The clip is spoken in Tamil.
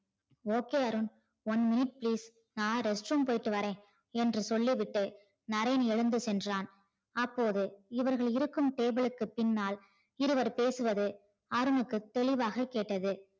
okay Arun one minute please நான் restroom போயிட்டு வரேன் என்று சொல்லி விட்டு நரேன் எழுந்து சென்றான். அப்போது இவர்கள் இருக்கும் table க்கு பின்னால் இருவர் பேசுவது அருணுக்கு தெளிவாக கேட்டது.